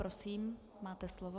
Prosím, máte slovo.